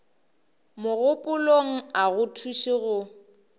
mogopolong a go thuše go